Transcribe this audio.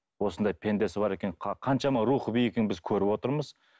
осындай пендесі бар екен қаншама рухы биік екенін біз көріп отырмыз